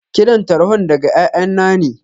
Kiran tarhon daga ƴaƴanna ne.